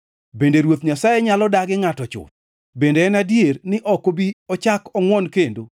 “Bende Ruoth Nyasaye nyalo dagi ngʼato chuth? Bende en adier ni ok obi ochak ongʼwon kendo?